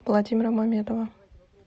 владимира мамедова